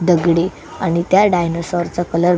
दगडी आणि त्या डायनासोर कलर --